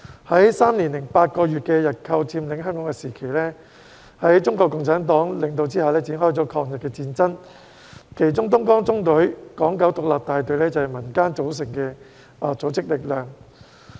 在3年8個月的日寇佔領香港時期，在中國共產黨的領導下展開了抗日戰爭，其中東江縱隊港九獨立大隊是由民間組成的組織力量。